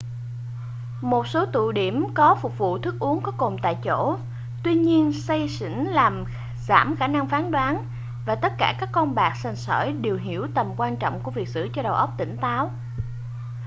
một số tụ điểm có phục vụ thức uống có cồn tại chỗ tuy nhiên say xỉn làm giảm khả năng phán đoán và tất cả các con bạc sành sỏi đều hiểu tầm quan trọng của việc giữ cho đầu óc tỉnh táo